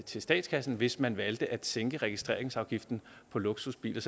til statskassen hvis man valgte at sænke registreringsafgiften på luksusbiler